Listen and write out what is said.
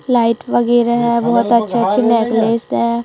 Light वगैरा है बहोत अच्छे अच्छे नेकलेस है।